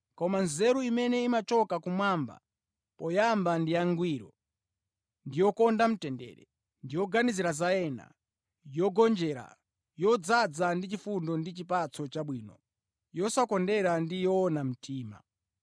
Koma nzeru imene imachoka kumwamba, poyamba ndi yangwiro, ndi yokonda mtendere, yoganizira za ena, yogonjera, yodzaza ndi chifundo ndi chipatso chabwino, yosakondera ndi yoona mtima.